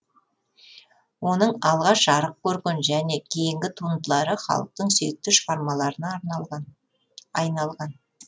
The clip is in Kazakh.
оның алғаш жарық көрген және кейінгі туындылары халықтың сүйікті шығармаларына айналған